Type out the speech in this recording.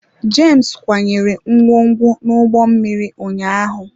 James kwanyere ngwongwo n'ụgbọ mmiri ụnyaahụ.